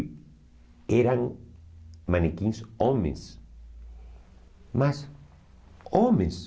E eram manequins homens, mas homens.